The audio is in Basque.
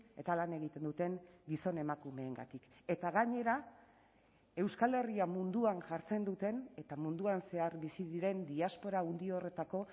eta lan egiten duten gizon emakumeengatik eta gainera euskal herria munduan jartzen duten eta munduan zehar bizi diren diaspora handi horretako